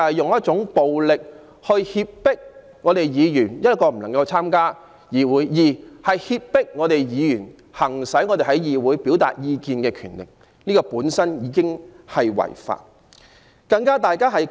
示威者以暴力脅迫議員，使議員不能參加會議，亦剝奪議員行使議會表達意見的權力，這些行為本身已屬違法。